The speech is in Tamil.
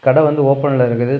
கட வந்து ஓபன்ல இருக்குது.